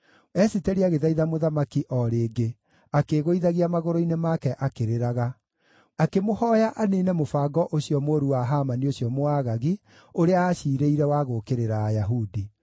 Esiteri agĩthaitha mũthamaki o rĩngĩ, akĩĩgũithagia magũrũ-inĩ make akĩrĩraga. Akĩmũhooya aniine mũbango ũcio mũũru wa Hamani ũcio Mũagagi, ũrĩa aaciirĩire wa gũũkĩrĩra Ayahudi.